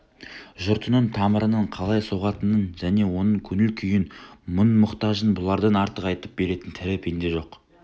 жұртының тамырының қалай соғатынын және оның көңіл күйін мұң-мұқтажын бұлардан артық айтып беретін тірі пенде жоқ